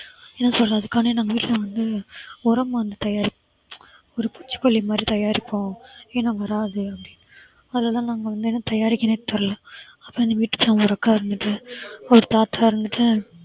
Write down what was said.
என்ன சொல்றது அதுக்காண்டி நாங்க வீட்ல வந்து உரம் வந்து தயாரித்து ஒரு பூச்சிக்கொல்லி மாதிரி தயாரிப்போம் ஏனா வராது அப்படின்னு அதைதான் நாங்க வந்து என்ன தயாரிக்கிறதுன்னே தெரியல அப்ப அந்த ஒரு அக்கா இருந்துட்டு ஒரு தாத்தா இருந்துட்டு